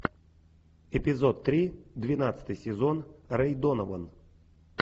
эпизод три двенадцатый сезон рэй донован